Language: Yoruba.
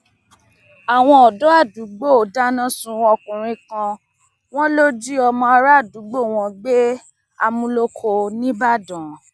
àwọn ọdọ àdúgbò dáná sun ọkùnrin kan wọn lọ jí ọmọ àràádúgbò àwọn gbé àmúlòkọ nìbàdàn